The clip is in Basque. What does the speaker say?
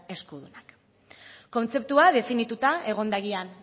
eskudunak kontzeptua definituta egon